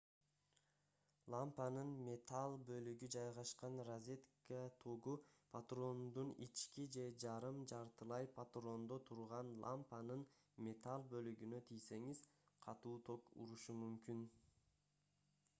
лампанын металл бөлүгү жайгашкан розетка тогу патрондун ички же жарым жартылай патрондо турган лампанын металл бөлүгүнө тийсеңиз катуу ток урушу мүмкүн